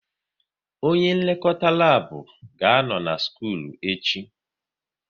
Onye nlekọta lab ga-anọ na skul echi